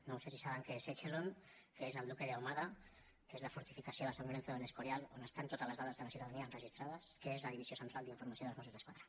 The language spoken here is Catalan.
no sé si saben què és echelon què és el duque de ahumada què és la fortificació de san lorenzo del escorial on estan totes les dades de la ciutadania enregistrades què és la divisió central d’informació dels mossos d’esquadra